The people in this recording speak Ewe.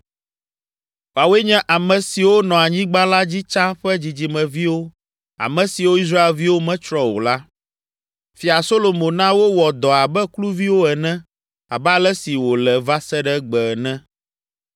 Woawoe nye ame siwo nɔ anyigba la dzi tsã ƒe dzidzimeviwo ame siwo Israelviwo metsrɔ̃ o la. Fia Solomo na wowɔ dɔ abe kluviwo ene abe ale si wòle va se ɖe egbe ene.